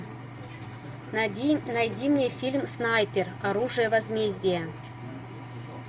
найди мне фильм снайпер оружие возмездия